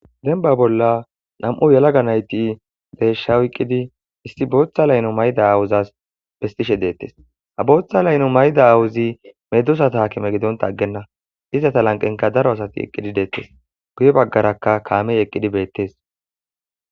denba bolla nam7u yalaga nayti beeshsha oyqqidi issi booththa layno mayda awuzas bestishe deettes a booththa layno mayda awuzi medosa taakime gidon taggenna izata lanqenka daro asati eqqidi deettes guye baggarakka kaamey eqqidi beettes